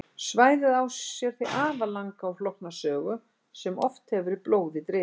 Svæðið á sér því afar langa og flókna sögu sem oft hefur verið blóði drifin.